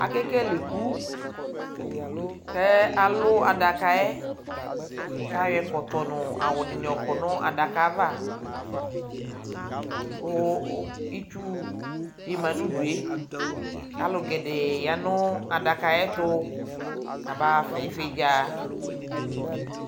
Akekele iku:kɛ alʋ adakaɛ k'ayɔ ɛkɔtɔ nʋ awʋdɩnɩ yɔkɔ nʋ adaka ava Kʋ itsudɩ ma n'udue Alʋ gɛdɛɛ ya nʋ adaka ayɛtʋ , kaba ɣafa ɩvɩdza